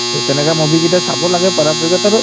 to তেনেকুৱা movie কেইটা চাব লাগে পাৰাপক্ষত আৰু